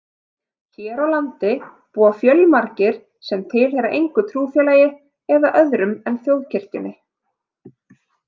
Hér á landi búa fjölmargir sem tilheyra engu trúfélagi eða öðrum en þjóðkirkjunni.